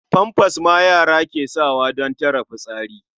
Famfas ma yara ke sawa don tare fitsari.